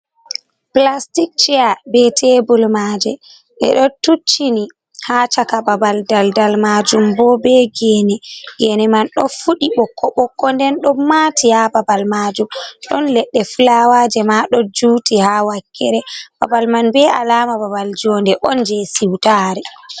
Pulastik ceya be tebul maaje, ɗe ɗo tuccini haa caka babal. Daldal maajum bo be geene, geene man ɗo fuɗi ɓokko ɓokko, nden ɗon maati ha babal maajum, ɗon leɗɗe fulawaaje ma, ɗo juuti haa wakkere babal man, be alaama babal joonde on jey siwtaare.